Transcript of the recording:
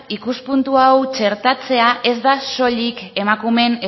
ikuspuntu hau txertatzea ez da soilik emakumeen